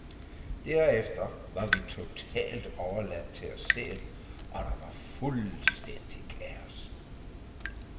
Derefter var vi totalt overladt til os selv, og der var fuldstændig kaos.